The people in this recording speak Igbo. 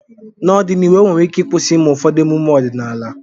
n'ọdịnihu enwere ike ịkwụsị ịme ụfọdụ emume ọdịnaala